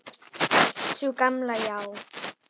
Sú gamla, já.